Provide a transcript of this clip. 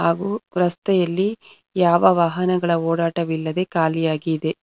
ರಸ್ತೆಯಲ್ಲಿ ಯಾವ ವಾಹನಗಳ ಓಡಾಟ ಇಲ್ಲದೆ ಖಾಲಿಯಿದೆ.